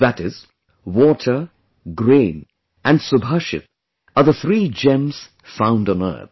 That is, water, grain and subhashit are the three gems found on earth